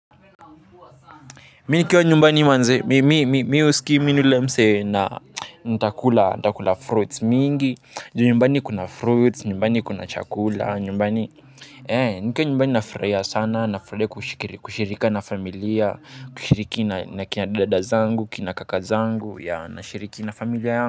Mi nikiwa nyumbani manze mi mi mi huskii mi ni ule msee na ntakula ntakula fruits mingi juu nyumbani kuna fruits nyumbani kuna chakula nyumbani ee nikiwa nyumbani nafurahia sana nafurahia kushirika na familia kushiriki na kina dada zangu kina kaka zangu yea nashiriki na familia yangu.